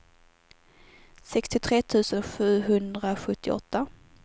sextiotre tusen sjuhundrasjuttioåtta